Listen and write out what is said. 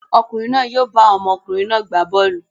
Ọkùnrin náà yóò bá àwọn ọmọkùnrin náà gbá bọ́ọ́lù.